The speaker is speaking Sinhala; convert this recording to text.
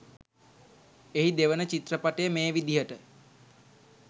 එහි දෙවන චිත්‍රපටය මේ විදියට